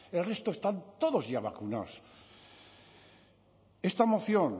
el resto están todos ya vacunados esta moción